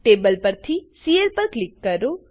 table પરથી C L પર click કરો